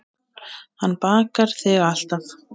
Hann bakar þig alltaf.